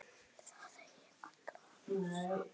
Það eigi alla hennar samúð.